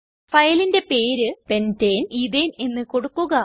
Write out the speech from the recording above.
ഫയലിന്റെ പേര് pentane ethane എന്ന് കൊടുക്കുക